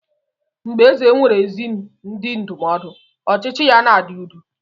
Mgbe eze nwere ezi ndị ndụmọdụ, ọchịchị ya na-adị udo.